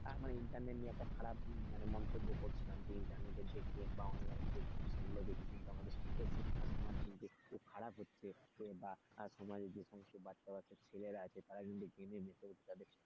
আর মানে internet নিয়ে একটা খারাপ মন্তব্য করছিলাম যে internet দেখে বা online দেখে এগুলো দেখে কিন্তু আমাদের খুব খারাপ হচ্ছে তো সমাজে যেসব বাচ্ছা বাচ্ছা ছেলেরা আছে তারা internet এর ভিতরে তাদের,